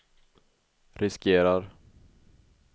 riskerar